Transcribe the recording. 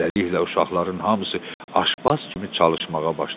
Beləliklə uşaqların hamısı aşbaz kimi çalışmağa başladı.